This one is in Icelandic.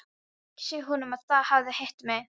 Ekki segja honum að þið hafið hitt mig.